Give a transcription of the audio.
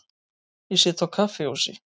Ég sit á kaffihúsi.